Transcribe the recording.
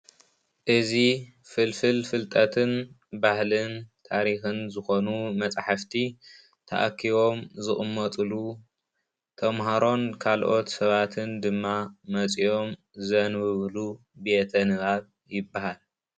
እዚ ፍልፍል ፍልጠትን ባህልን ታሪክን ዝኮኑ መጻሕፍቲ ተኣኪቦም ዝቅመጥሉ ፣ተምሃሮን ካልኦት ሰባትን ድማ መጺኦም ዘንብብሉ ቤተ ንባብ ይባሃል።